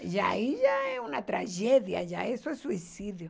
Já ai já é uma tragédia, já isso é suicídio.